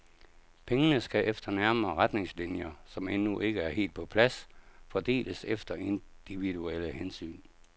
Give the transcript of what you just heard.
Pengene skal efter nærmere retningslinjer, som endnu ikke er helt på plads, fordeles efter individuelle hensyn.